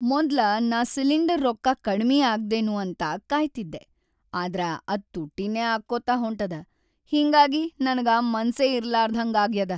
ಮೊದ್ಲ ನಾ ಸಿಲಿಂಡರ್‌ ರೊಕ್ಕಾ ಕಡಿಮಿ ಆಗ್ದೇನೂ ಅಂತ ಕಾಯ್ತಿದ್ದೆ‌ ಆದ್ರ ಅದ್ ತುಟ್ಟಿನೇ ಆಗ್ಕೋತ ಹೊಂಟದ, ಹಿಂಗಾಗಿ ನನಗ ಮನಸ್ಸೇ ಇರ್ಲಾರ್ದಹಂಗಾಗ್ಯಾದ.